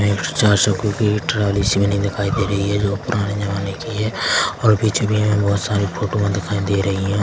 Nest चार सो की जा एक ट्राली सी बनी दिखाई दे रही है जो पुराने जमाने की है और पीछे भी हमें बहुत सारी फोटो में दिखाई दे रही हैं।